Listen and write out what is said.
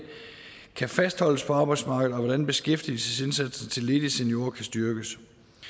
kan fastholdes på arbejdsmarkedet og hvordan beskæftigelsesindsatsen til ledige seniorer kan styrkes